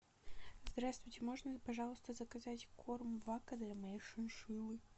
здравствуйте можно пожалуйста заказать корм вака для моей шиншиллы